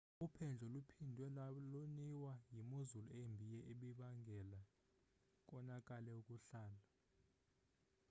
uphendlo luphindwe loniwa yimozulu embi ebibangele konakale ukuhlala